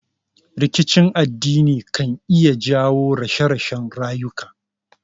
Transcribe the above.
Rikicin addini kan iya jawo rashe rashen rayuka